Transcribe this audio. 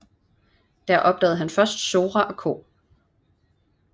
Der opdagede han først Sora og Co